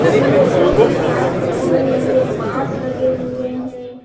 जो कि सायद बन रही है बाँस लगे हुए हैं।